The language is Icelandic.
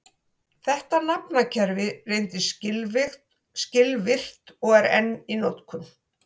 Þetta nafnakerfi reyndist skilvirkt og er ennþá í notkun.